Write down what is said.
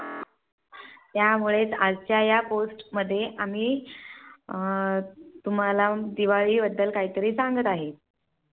त्यामुळे आजच्या या Post मध्ये आम्ही अं तुम्हाला दिवाळी बद्दल काहीतरी सांगता आहे.